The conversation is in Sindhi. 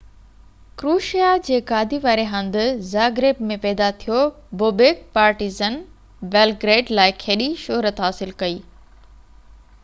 ڪروشيا جي گادي واري هنڌ زاگريب ۾ پيدا ٿيو بوبيڪ پارٽيزن بيلگريڊ لاءَ کيڏي شهرت حاصل ڪئي